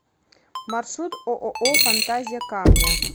маршрут ооо фантазия камня